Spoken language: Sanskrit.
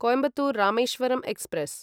कोयिम्बत्तूर् रामेश्वरं एक्स्प्रेस्